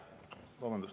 Vabandust!